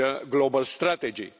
global strategy,